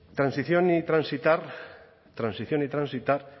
transición y transitar transición y transitar